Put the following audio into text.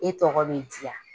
E tɔgɔ bɛ diya.